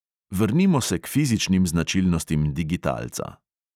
Vrnimo se k fizičnim značilnostim digitalca.